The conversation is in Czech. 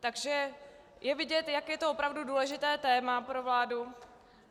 Takže je vidět, jak je to opravdu důležité téma pro vládu.